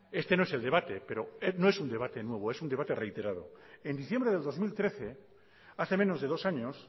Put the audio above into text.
este no es el debate pero no es un debate nuevo es un debate reiterado en diciembre del dos mil trece hace menos de dos años